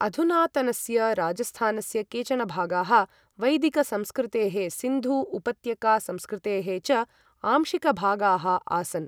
अधुनातनस्य राजस्थानस्य केचन भागाः, वैदिकसंस्कृतेः सिन्धू उपत्यका संस्कृतेः च आंशिकभागाः आसन्।